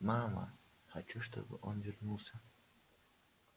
мама хочу чтобы он вернулся